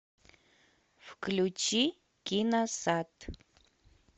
включи киносад